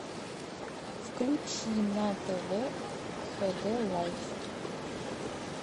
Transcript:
включи на тв хд лайф